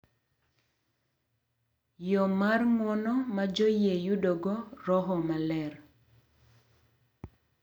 Yo mar ng’uono ma joyie yudogo Roho Maler.